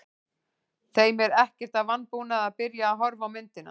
Þeim er ekkert að vanbúnaði að byrja að horfa á myndina.